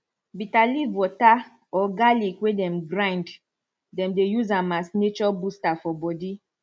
bitter leaf water or garlic way dem grind dem dey use am as nature booster for body